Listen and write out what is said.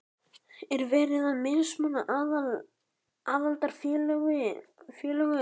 Er verið að mismuna aðildarfélögum?